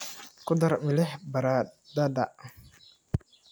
Ku dar milix baradhada.